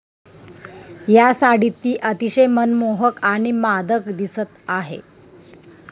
या साडीत ती अतिशय मनमोहक आणि मादक दिसत आहे.